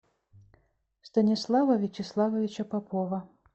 станислава вячеславовича попова